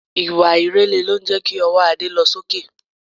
Ìwà ìrẹ̀lẹ̀ lo ń jẹ́ kí ọwọ́ Ade lọ sí òkè